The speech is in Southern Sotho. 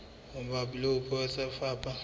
mabapi le puo tsa lefapha